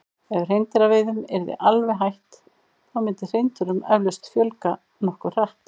Ef hreindýraveiðum yrði alveg hætt þá myndi hreindýrum eflaust fjölga nokkuð hratt.